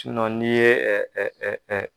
Sunɔn n'i ye